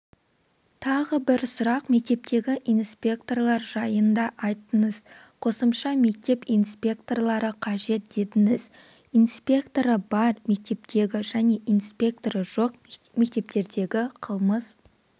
тағы бір сұрақ мектептегі инспекторлар жайын да айттыңыз қосымша мектеп инспекторлары қажет дедіңіз инспекторы бар мектептегі және инспекторы жоқ мектептердегі қылмыс